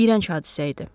İyrənc hadisə idi.